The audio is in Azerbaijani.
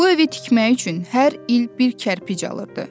Bu evi tikmək üçün hər il bir kərpic alırdı.